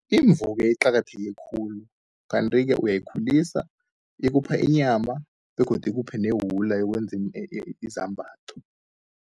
Imvu-ke iqakatheke khulu, kanti-ke uyayikhulisa ikupha inyama begodu ikuphe newula yokwenza izambatho.